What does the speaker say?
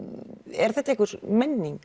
er þetta einhver menning